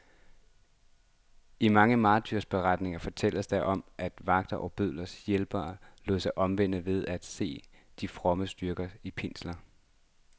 I mange martyrberetninger fortælles der om, at vagterne og bødlernes hjælpere lod sig omvende ved at se de frommes styrke i pinslerne.